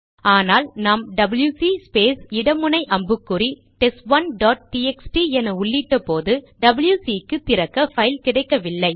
ஆனால் நாம் WC space இட முனை அம்புக்குறி டெஸ்ட்1 டாட் டிஎக்ஸ்டி என உள்ளிட்ட போது டபில்யுசி க்கு திறக்க பைல் கிடைக்கவில்லை